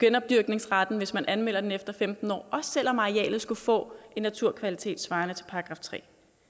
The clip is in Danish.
genopdyrkningsretten hvis man anmelder den efter femten år også selv om arealet skulle få en naturkvalitet svarende til § 3